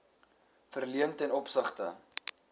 verleen ten opsigte